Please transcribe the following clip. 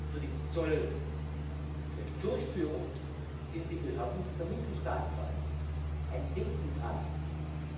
Für die Zolldurchführung sind die Behörden der Mitgliedstaaten verantwortlich ein dezentrales System.